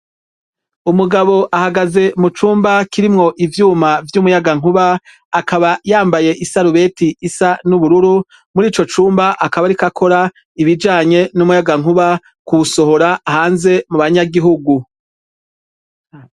Umugabo ahagaze mu cumba kirimwo ivyuma vy'umuyagankuba, akaba yambaye isarubeti isa n'ubururu, muri ico cumba akaba ariko akora ibijanye n'umuyagankuba, kuwusohora hanze mu banyagihugu.